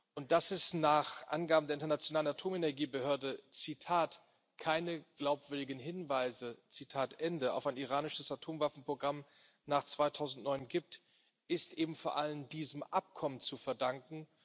Und dass es nach Angaben der Internationalen Atomenergiebehörde keine glaubwürdigen Hinweise auf ein iranisches Atomwaffenprogramm nach 2009 gibt, ist eben vor allen diesem Abkommen zu verdanken.